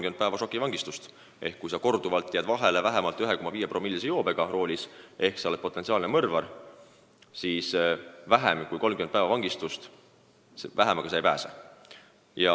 Nüüd on nii, et kui sa korduvalt jääd roolis vahele vähemalt 1,5-promillise joobega ehk sa oled potentsiaalne mõrvar, siis vähemaga kui 30 päeva vangistust sa ei pääse.